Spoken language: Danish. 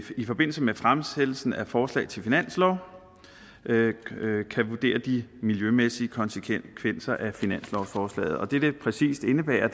i forbindelse med fremsættelsen af forslag til finanslov kan vurdere de miljømæssige konsekvenser af finanslovsforslaget og det det præcis indebærer